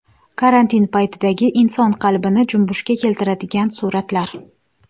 Karantin paytidagi inson qalbini junbushga keltiradigan suratlar .